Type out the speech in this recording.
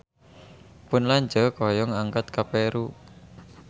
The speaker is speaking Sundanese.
Pun lanceuk hoyong angkat ka Peru